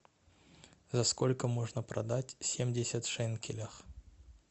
за сколько можно продать семьдесят шекелей